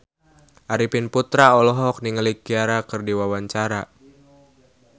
Arifin Putra olohok ningali Ciara keur diwawancara